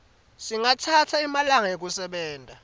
singatsatsa emalanga ekusebenta